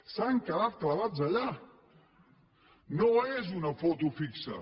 s’han quedat clavats allà no és una foto fixa